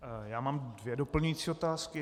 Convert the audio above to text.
Já mám dvě doplňující otázky.